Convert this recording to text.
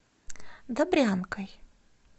добрянкой